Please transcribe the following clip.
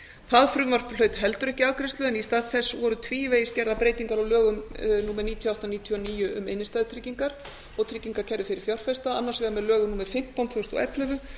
það frumvarp hlaut heldur ekki afgreiðslu en í stað þess voru tvívegis gerðar breytingar á lögum númer níutíu og átta nítján hundruð níutíu og níu um innstæðutryggingar og tryggingakerfi fyrir fjárfesta annars vegar með lögum númer fimmtán tvö þúsund og ellefu